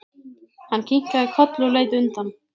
Hann kinkaði kolli og leit undan.